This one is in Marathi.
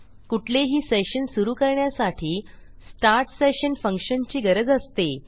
कुठलेही सेशन सुरू करण्यासाठी स्टार्ट सेशन फंक्शनची गरज असते